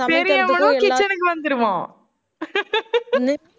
பெரியவனும் kitchen க்கு வந்துருவான்